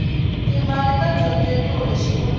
ti mali ta dyondzeriwa exikolweni